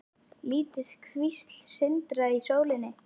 Lítil kvísl sindraði í sólinni.